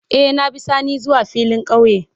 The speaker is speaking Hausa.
Eh, na bi sani zuwa filin kauye.